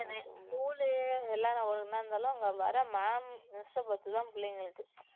school உ எல்லாரும் ஒண்ணா இருந்தாலும் அங்க வர ma'am miss பார்த்து தான் பிள்ளைங்களுக்கு